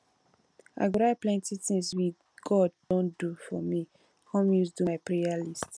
i go write plenty things we god don do for me come use do my prayer list